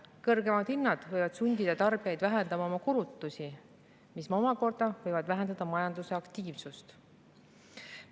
Kõrgemad hinnad võivad sundida tarbijaid vähendama oma kulutusi, mis omakorda võib vähendada majanduse aktiivsust.